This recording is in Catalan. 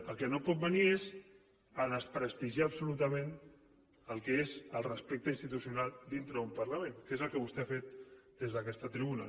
el que no pot venir és a desprestigiar absolutament el que és el respecte institucional dintre d’un parlament que és el que vostè ha fet des d’aquesta tribuna